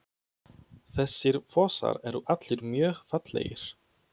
Þessir fossar eru allir mjög fallegir.